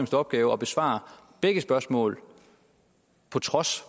opgave at besvare begge spørgsmål på trods